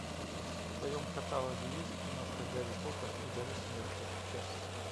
в твоем каталоге есть киношка гарри поттер и дары смерти часть